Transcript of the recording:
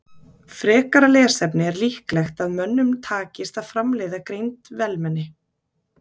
Frekara lesefni Er líklegt að mönnum takist að framleiða greind vélmenni?